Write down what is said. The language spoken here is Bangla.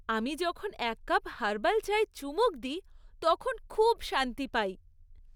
আমি যখন এক কাপ হার্বাল চায়ে চুমুক দিই তখন খুব শান্তি পাই।